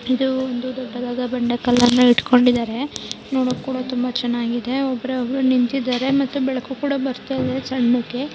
ಇದು ಒಂದು ದೊಡ್ಡದಾದ ಬಂಡೆ ಕಲ್ಲನ್ನು ಹಿಡ್ಕೊಂಡಿದಾರೆ.ಒಬ್ರು ಕೂಡ ನಿಂತಿದಾರೆ ಬೆಳಕು ಕೂಡ ಬರ್ತಿದೆ ಸಣ್ಣಕೆ --